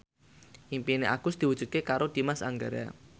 impine Agus diwujudke karo Dimas Anggara